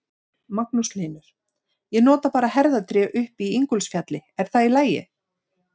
Magnús Hlynur: Ég nota bara herðatré upp í Ingólfsfjalli, er það í lagi?